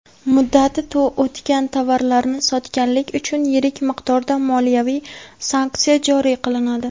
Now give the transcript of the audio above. Muddati o‘tgan tovarlarni sotganlik uchun yirik miqdorda moliyaviy sanksiya joriy qilinadi.